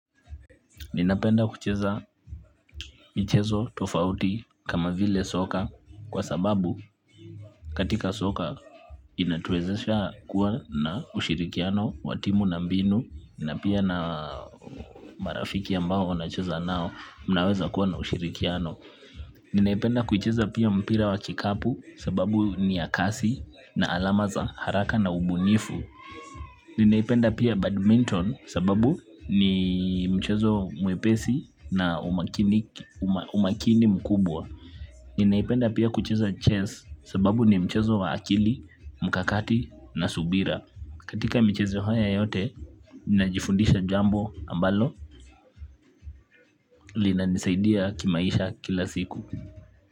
Ninapenda kucheza michezo tofauti kama vile soka kwa sababu katika soka inatuwezesha kuwa na ushirikiano wa timu na mbinu na pia na marafiki ambao unacheza nao mnaweza kuwa na ushirikiano ninaipenda kucheza pia mpira wa kikapu sababu ni ya kasi na alama za haraka na ubunifu. Ninaipenda pia badminton sababu ni mchezo mwepesi na umakini mkubwa. Ninaipenda pia kucheza chess kwa sababu ni mchezo wa akili mkakati na subira katika michezo haya yote, ninajifundisha jambo ambalo lina nisaidia kimaisha kila siku.